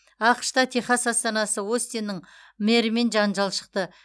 ақш та техас астанасы остиннің мэрімен жанжал шықты